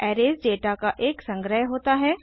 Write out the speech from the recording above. arrays data का एक संग्रह होता है